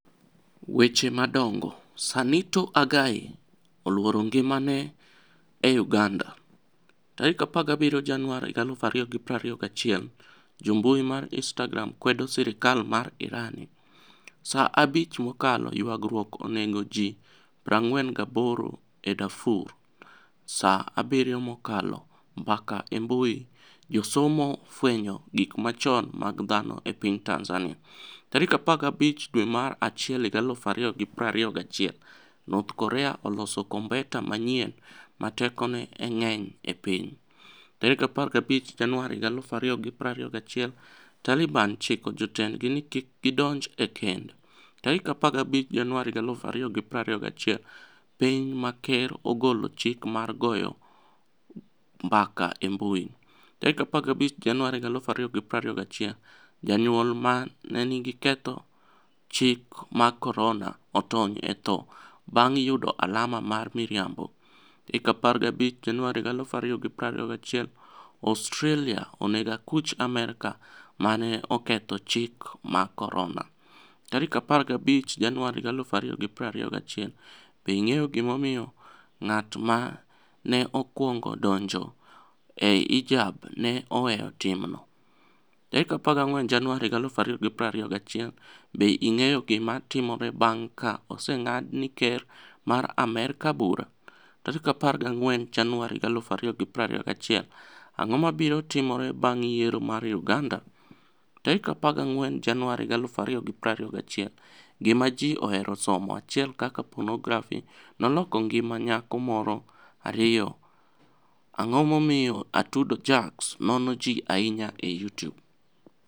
(Goodmorinig Britaini via Eveniinig Stanidard) Weche madonigo Saanito Agai e 'oluoro nigimani e' Uganida. 17 Janiuar 2021 Jo mbui mar Inistagram kwedo sirkal mar Irani. Saa abich mokalo Ywaruok oni ego ji 48 e Darfur. Saa 7 mokalo Mbaka e mbui Josomo fweniyo gik machoni mag dhano e piniy Tanizaniia. 15 dwe mar achiel 2021 north Korea oloso kombeta maniyieni 'ma tekoni e nig'eniy e piniy'. 15 Janiuar 2021 Talibani chiko jotenidgi nii kik gidonij e kenid. 15 Janiuar 2021 Piniy ma ker ogolo chik mar goyo mbaka e mbui. 15 Janiuar 2021 Janiyuol 'ma ni e oketho chike mag koronia' otoniy e tho banig' yudo alama mar miriambo. 15 Janiuar 2021 Australia ni ego akuch Amerka 'ma ni e oketho chike mag koroni. '15 Janiuar 2021 Be inig'eyo gimomiyo nig'at ma ni e okwonigo donijo e hijab ni e oweyo timno? 14 Janiuar 2021 Be inig'eyo gima timore banig' ka osenig'ad ni e ker mar Amerka bura? 14 Janiuar 2021 Anig'o mabiro timore banig' yiero mar Uganida? 14 Janiuar 2021 Gima Ji Ohero Somo 1 Kaka Ponografi noloko nigimaniyako Moro 2 Anig'o Momiyo Atudo jackz nono Ji Ahiniya e Youtube?